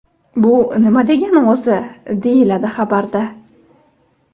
Bu nima degani o‘zi?” deyiladi xabarda.